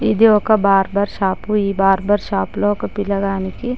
ఇది ఒక barber shop . ఈ బార్బర్ షాపు లో ఒక పిల్లగానికి--